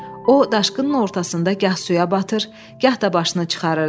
O, daşqının ortasında gah suya batır, gah da başını çıxarırdı.